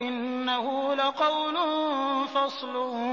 إِنَّهُ لَقَوْلٌ فَصْلٌ